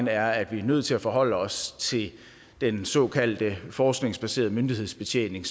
er at vi er nødt til at forholde os til den såkaldte forskningsbaserede myndighedsbetjening